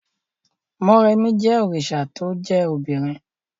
Mọ́remí jẹ́ òrìṣà to jẹ́ obìnrin